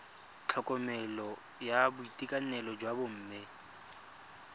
tlhokomelo ya boitekanelo jwa bomme